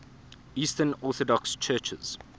eastern orthodox churches